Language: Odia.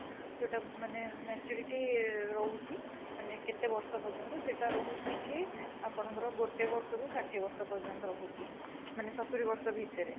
ଯୋଉଟା ମାନେ maturity ରହୁଛି ମାନେ କେତେ ବର୍ଷ ପର୍ଯ୍ୟନ୍ତ ସେଟା ରହୁଛି କି ଆପଣଙ୍କର ଗୋଟେ ବର୍ଷ ରୁ ଷାଠିଏ ବର୍ଷ ପର୍ଯ୍ୟନ୍ତ ରହୁଛି ମାନେ ସତୁରି ବର୍ଷ ଭିତରେ